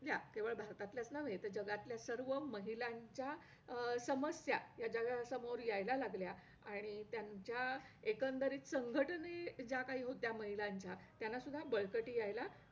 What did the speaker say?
ज्या केवळ भारतातलेच नव्हे तर जगातल्या सर्व महिलांच्या अं समस्या या जगासमोर यायला लागल्या आणि त्यांच्या एकंदरीत संघटने ज्या काही होत्या महिलांच्या त्यांना सुद्धा बळकटी यायला